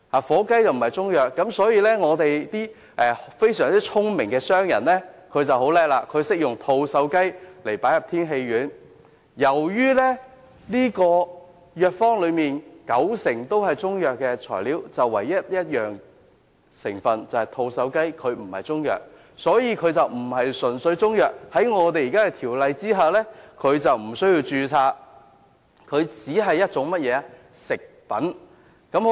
火雞並非中藥，因此，非常聰明的商人便在製造天喜丸時加入吐綬雞，於是，藥方內雖然有九成材料均屬中藥，但有一種成分吐綬雞不屬於中藥，因此便不是純粹由中藥材製成，根據現行《條例》無須註冊，只視作食品。